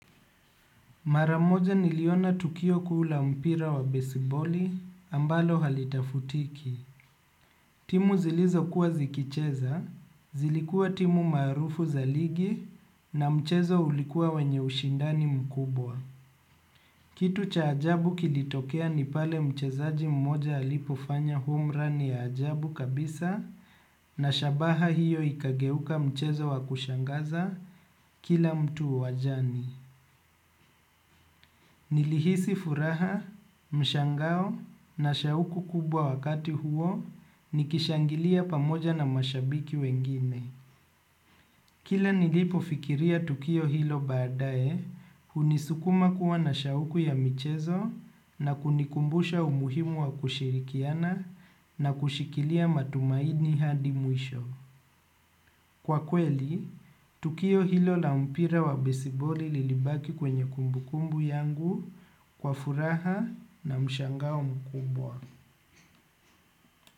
Maramoja niliona tukio kuu la mpira wa besiboli ambalo halitafutiki. Timu zilizo kuwa zikicheza, zilikua timu marufu za ligi na mchezo ulikua wenye ushindani mkubwa. Kitu cha ajabu kilitokea nipale mchezaji mmoja alipufanya home run ya ajabu kabisa na shabaha hiyo ikageuka mchezo wa kushangaza kila mtu wajani. Nilihisi furaha, mshangao na shauku kubwa wakati huo ni kishangilia pamoja na mashabiki wengine. Kila nilipo fikiria tukio hilo baadae, hunisukuma kuwa na shauku ya michezo na kunikumbusha umuhimu wa kushirikiana na kushikilia matumaini hadi mwisho. Kwa kweli, tukio hilo la mpira wa besiboli lilibaki kwenye kumbu kumbu yangu kwa furaha na mshangao mkubwa.